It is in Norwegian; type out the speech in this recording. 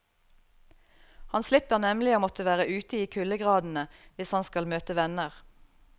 Han slipper nemlig å måtte være ute i kuldegradene hvis han skal møte venner.